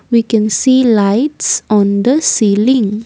we can see lights on the celling.